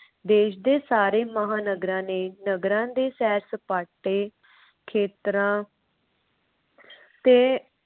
ਦੇਸ਼ ਦੇ ਸਾਰੇ ਮਹਾਨਗਰਾਂ ਨੇ ਨਗਰਾਂ ਦੇ ਸੈਰ ਸਪਾਟੇ ਖੇਤਰਾਂ ਤੇ